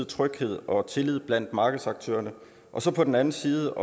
tryghed og tillid blandt markedsaktørerne og så på den anden side